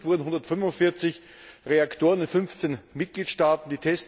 Untersucht wurden 145 Reaktoren in 15 Mitgliedstaaten.